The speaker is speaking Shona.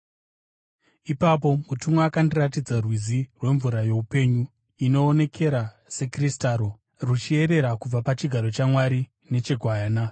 Ipapo mutumwa akandiratidza rwizi rwemvura youpenyu, inoonekera sekristaro, ruchiyerera kubva pachigaro chaMwari necheGwayana